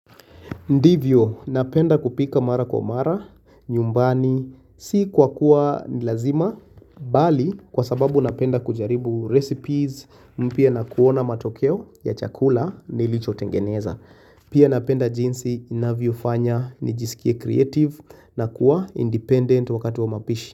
Ndivyo napenda kupika mara kwa mara nyumbani si kwa kuwa nilazima bali kwa sababu napenda kujaribu recipes mpya na kuona matokeo ya chakula nilichotengeneza Pia napenda jinsi inavyofanya nijisikie creative na kuwa independent wakati wa mapishi.